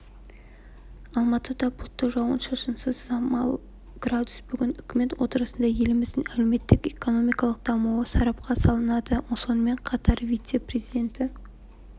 алматыда бұлтты жауын-шашынсыз самал градус бүгін үкімет отырысында еліміздің әлеуметтік-экономикалық дамуы сарапқа салынады сонымен қатар вице-президенті